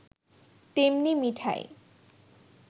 তেমনি মিঠাই